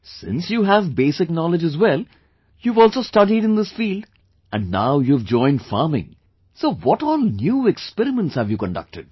Since you have basic knowledge as well, you have also studied in this field and now you have joined farming, so what all new experiments have you conducted